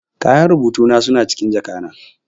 Kayan rubutu na suna cikin jaka na.